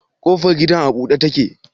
Kofar gidan a bude take?